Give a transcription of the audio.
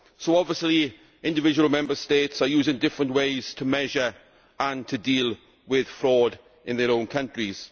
So obviously individual Member States are using different ways to measure and to deal with fraud in their own countries.